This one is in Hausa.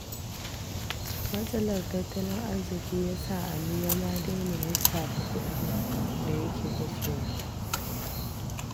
Matsalar tattalin arziƙi ya sa Ali ya ma daina lissafa kuɗin da yake kashewa.